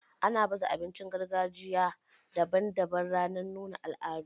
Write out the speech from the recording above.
Ana baza abincin gargajiya daban daban ranar nuna al'adu.